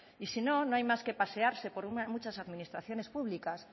y si no no hay más que pasearse por muchas administraciones públicas